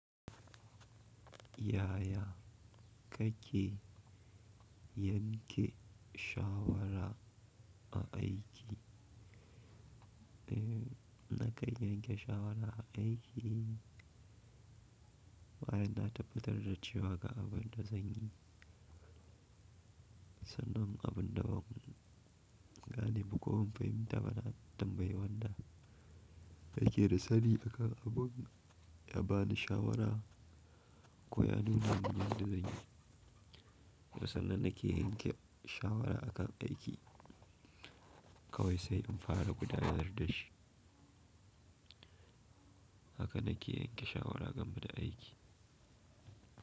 Yaya kake yanke shawara a aiki? Nakan yanke shawara a aiki, bayan na tabbatar da cewa ga abin da zan yi, sannan abin da ban gane ba ko ban fahimta ba na tambayi wanda yake da sani a kan abun ya bani shawara ko ya nuna min yadda zan yi. A sannan nake yanke shawara a kan aiki kawai sai in fara gudanar da shi. Haka nake yanke shawara game da aiki.